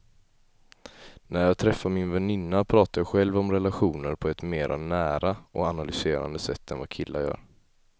När jag träffar min väninna pratar jag själv om relationer på ett mer nära och analyserande sätt än vad killar gör.